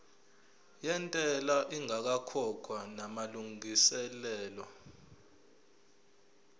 yentela ingakakhokhwa namalungiselo